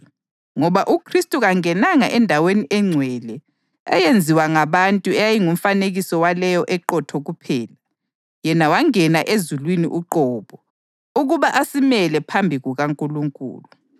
Ngoba uKhristu kangenanga endaweni engcwele eyenziwa ngabantu eyayingumfanekiso waleyo eqotho kuphela; yena wangena ezulwini uqobo, ukuba asimele phambi kukaNkulunkulu.